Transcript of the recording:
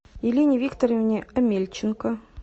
елене викторовне омельченко